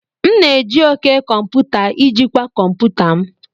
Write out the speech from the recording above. M na-eji òké komputa ijikwaa kọmputa m.